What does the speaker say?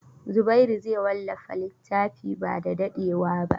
Zubairu zai wallafa littafin ba da dadewa ba.